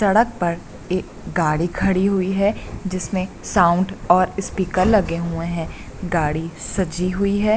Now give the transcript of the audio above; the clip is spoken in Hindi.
सड़क पर एक गाड़ी खड़ी हुई है जिसमें साउंड और स्पीकर लगे हुए हैं गाड़ी सजी हुई है।